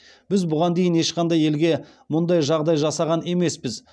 біз бұған дейін ешқандай елге мұндай жағдай жасаған емеспіз